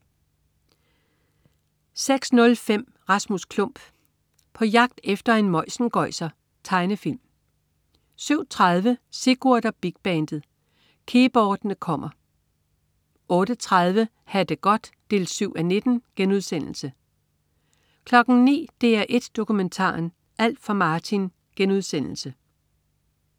06.05 Rasmus Klump. På jagt efter en møjsengøjser. Tegnefilm 07.30 Sigurd og Big bandet. Keyboardene kommer! 08.30 Ha' det godt 7:19* 09.00 DR1 Dokumentaren: Alt for Martin*